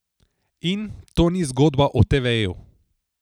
In: 'To ni zgodba o teveju.